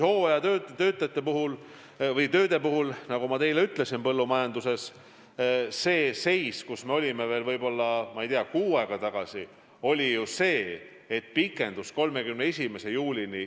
Hooajatööde puhul põllumajanduses, nagu ma ütlesin, see seis, kus me olime veel kuu aega tagasi, on pikenenud 31. juulini.